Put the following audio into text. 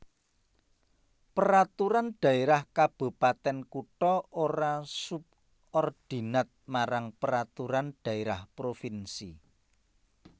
Peraturan Dhaérah Kabupatèn Kutha ora subordinat marang Peraturan Dhaérah Provinsi